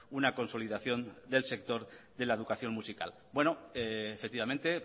una consolidación del sector de la educación musical bueno efectivamente